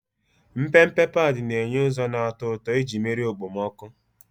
Mpempe padi na-enye ụzọ na-atọ ụtọ iji merie okpomọkụ.